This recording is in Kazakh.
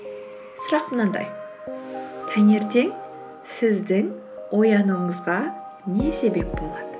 сұрақ мынандай таңертең сіздің оянуыңызға не себеп болады